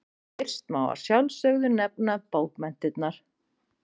Fyrst má að sjálfsögðu nefna bókmenntirnar.